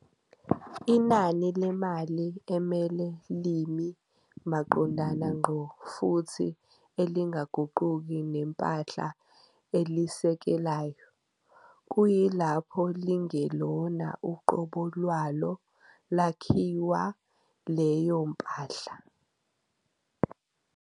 Inani lemali emele limi maqondana ngqo futhi elingaguquki nempahla elisekelayo, kuyilapho lingelona uqobo lwalo lakhiwa leyo mpahla.